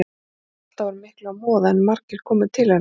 Hún hafði ekki alltaf úr miklu að moða en margir komu til hennar.